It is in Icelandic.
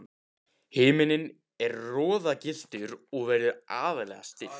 Himinninn er roðagylltur og veður algerlega stillt.